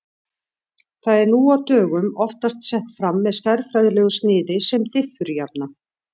Það er nú á dögum oftast sett fram með stærðfræðilegu sniði sem diffurjafna.